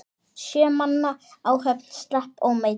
Sjö manna áhöfn slapp ómeidd.